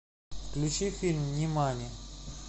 включи фильм нимани